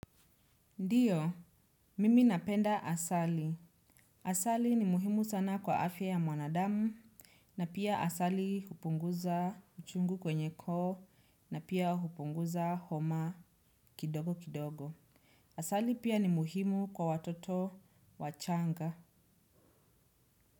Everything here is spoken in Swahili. Ndiyo, mimi napenda asali. Asali ni muhimu sana kwa afya ya mwanadamu na pia asali hupunguza uchungu kwenye koo na pia hupunguza homa kidogo kidogo. Asali pia ni muhimu kwa watoto wachanga.